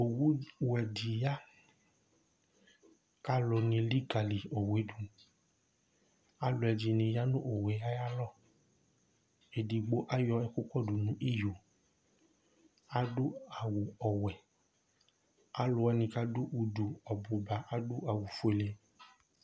owu wɛ di ya k'alò ni elikali owu yɛ do alò ɛdini ya no owu yɛ ayi alɔ edigbo ayɔ ukò do no iyo adu awu ɔwɛ alòwani k'adu udu ɔbu ba adu awu fuele